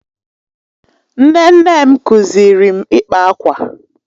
Nne nne m kụziiri m ịkpa akwa.